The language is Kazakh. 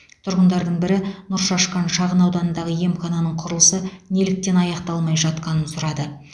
тұрғындардың бірі нұршашқан шағынауданындағы емхананың құрылысы неліктен аяқталмай жатқанын сұрады